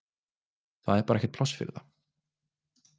Það er bara ekkert pláss fyrir það.